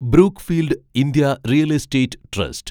Brookfield India real estate trust